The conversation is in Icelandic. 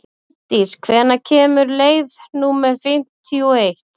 Módís, hvenær kemur leið númer fimmtíu og eitt?